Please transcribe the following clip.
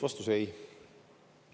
Vastus: ei.